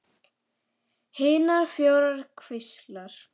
Hinar fjórar kvíslar